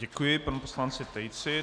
Děkuji panu poslanci Tejcovi.